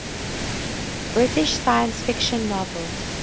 british science fiction novels